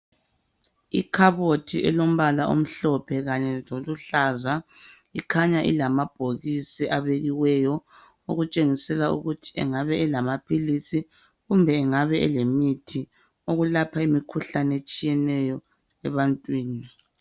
Ikhabothi elombala omhlophe kanye loluhlaza ikhanya ilamabhokisi abekiweyo okutshengisela ukuthi engabe elamaphilisi kumbe engabe elemithi yokulapha imikhuhlane etshiyeneyo ebantwini.